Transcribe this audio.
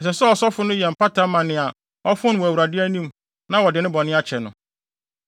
Ɛsɛ sɛ ɔsɔfo no yɛ mpata ma nea ɔfom no wɔ Awurade anim na wɔde ne bɔne akyɛ no.